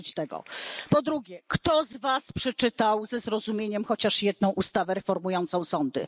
Dosyć tego! Po drugie, kto z Was przeczytał ze zrozumieniem chociaż jedną ustawę reformującą sądy?